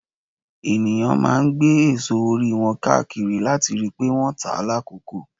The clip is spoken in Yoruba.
ènìyàn máa ń gbé èso orí wọn káàkiri láti rí pé wọ́n tá lákòókò.